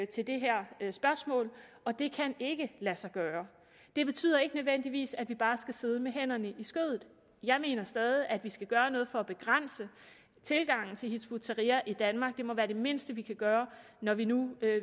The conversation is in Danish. til det her spørgsmål og det kan ikke lade sig gøre det betyder ikke nødvendigvis at vi bare skal sidde med hænderne i skødet jeg mener stadig at vi skal gøre noget for at begrænse tilgangen til hizb ut tahrir i danmark det må være det mindste vi kan gøre når vi nu